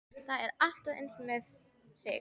Það er alltaf eins með þig!